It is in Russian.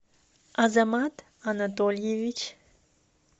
азамат анатольевич